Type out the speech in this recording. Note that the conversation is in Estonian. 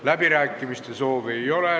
Läbirääkimiste soovi ei ole.